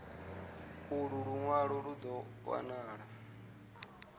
ulu lunwalo lu do wanala